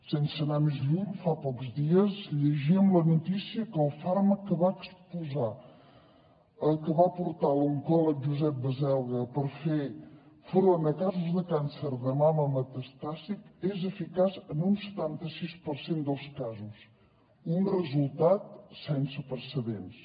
sense anar més lluny fa pocs dies llegíem la notícia que el fàrmac que va aportar l’oncòleg josep baselga per fer front a casos de càncer de mama metastàtic és eficaç en un setanta sis per cent dels casos un resultat sense precedents